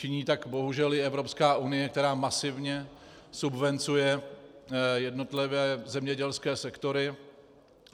Činí tak bohužel i Evropská unie, která masivně subvencuje jednotlivé zemědělské sektory.